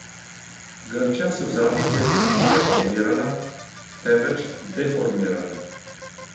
Grčija se v zadnjih letih ni reformirala, temveč deformirala.